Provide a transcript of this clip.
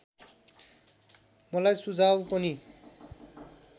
मलाई सुझाउ पनि